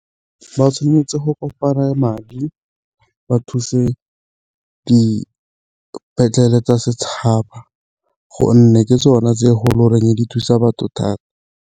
Ba tshwanetse go kopanya madi ba thuse dipetlele tsa setšhaba gonne ke tsone tse e go e di thusa batho thata.